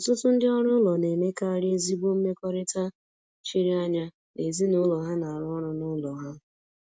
Ọtụtụ ndị ọrụ ụlọ na-emekarị ezigbo mmekọrịta chiri anya na ezinụlọ ha na-arụ ọrụ n’ụlọ ha.